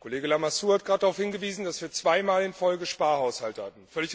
Kollege Lamassoure hat gerade darauf hingewiesen, dass wir zweimal in Folge Sparhaushalte hatten.